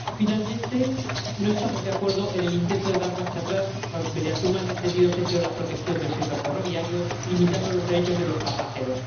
Finalmente, no estamos de acuerdo en el intento de dar marcha atrás mediante un mal entendido sentido de la protección del sector ferroviario, limitando los derechos de los pasajeros.